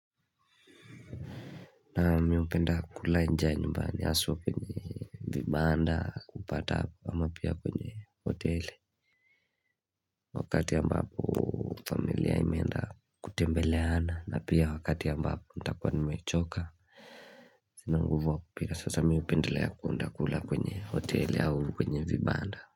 Naam miupenda kula nje ya nyumba ni haswa kwenye vibanda kupata hapa ama pia kwenye hoteli Wakati ambapo familia imeenda kutembeleana na pia wakati ambapo nitakuwa ni mechoka Sina nguvu ya kupika sasa mimi upenda ya kwenda kula kwenye hoteli au kwenye vibanda.